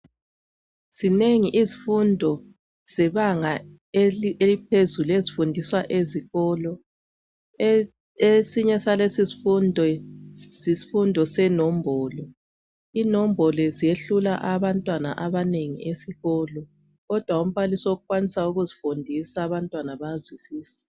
Zinengi izifundo zebanga eliphezulu ezifundiswa ezikolo esinye salesi sifundo yisifundo senombolo inombolo ziyehlula abantwana abanengi esikolo kodwa umbalisi okwanisa ukuzifundisa abantwana bayazwisisa